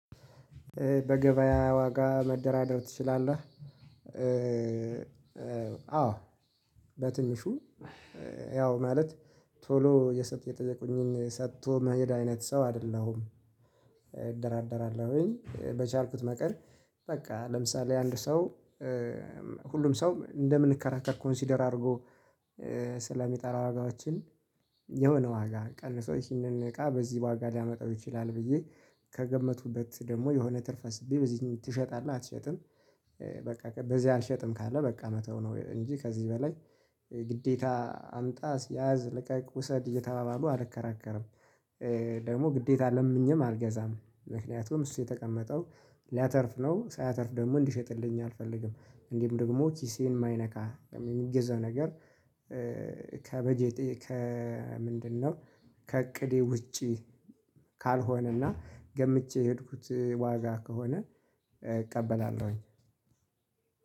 በገበያ ዋጋ መደራደር ትችላለህ? አዎ በትንሹ ያው ማለት ቶሎ የሰጥ የጠየቁኝን ሰጥቶ መሄድ አይነት ሰው አይደለሁም። እደራደራለሁኝ በቻልኩት መጠር በቃ ለምሳሌ አንድ ሰው። ሁሉም ሰው እንደምንከራከር ኮንሲደር አድርጎ ስለሚጠራ ዋጋዋችን ዋጋ ቀንሶ ይህንን እቃ በዚህ ዋጋ ሊያመጣው ይችላል። ብዬ ከገመቱበት ደግሞ የሆነ ትርፍ አስቤ በዚህን ትሸጣለህ አትሸጥም? በቃ በዚህ አልሸጥም ካለ በቃ መተው ነው። እንጂ ከዚህ በላይ ግዴታ አምጣ ሲያዝ ለቀቅ ውሰድ እየተባባሉ አልከራከርም። ደግሞ ግዴታ ለምኘም አልገዛም ምክንያቱም እሱ የተቀመጠው ሊያተርፍ ነው ሳያተርፍ ደግሞ እንዲሸጥልኝ አልፈልግም። እንዲሁ ደግሞ ኪሴን የማይነካ የሚገዛው ነገር። ከበጀቴ ከምንድነው? ከእቅዴ ውጪ። ካልሆነና ገምቼ የሄድኩት ዋጋ ከሆነ እቀበላለሁኝ።